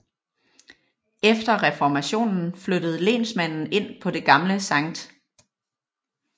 Efter reformationen flyttede lensmanden ind på det gamle Skt